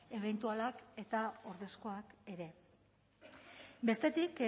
ebentualak eta ordezkoak ere bestetik